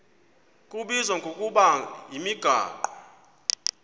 kubizwa ngokuba yimigaqo